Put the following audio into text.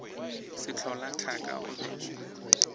sehlola thaka o be o